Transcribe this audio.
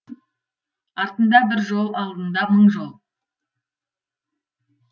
артында бір жол алдында мың жол